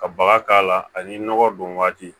Ka baga k'a la ani nɔgɔ don waati